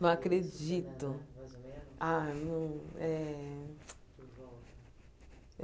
Não acredito. Ah não é